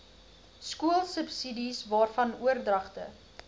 skoolsubsidies waarvan oordragte